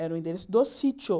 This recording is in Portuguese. Era o endereço do sítio.